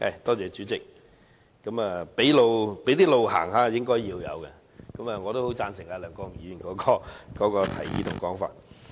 代理主席，"俾路行下"是應該的，我很贊成梁國雄議員的提議和說法。